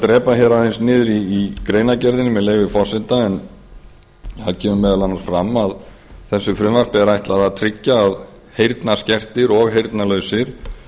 drepa hér aðeins niður í greinargerðinni með leyfi forseta en það kemur meðal annars fram að frumvarpi þessu er ætlað að tryggja að heyrnarskertir og heyrnarlausir